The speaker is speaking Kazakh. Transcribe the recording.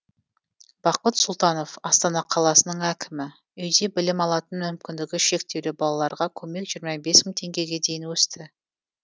бақыт сұлтанов астана қаласының әкімі үйде білім алатын мүмкіндігі шектеулі балаларға көмек жиырма бес мың теңгеге дейін өсті